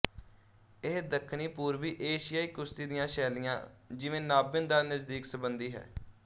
ਇਹ ਦੱਖਣੀਪੂਰਬੀ ਏਸ਼ੀਆਈ ਕੁਸ਼ਤੀ ਦੀਆਂ ਸ਼ੈਲੀਆਂ ਜਿਵੇਂ ਨਾਬਨ ਦਾ ਨਜ਼ਦੀਕ ਸੰਬੰਧੀ ਹੈ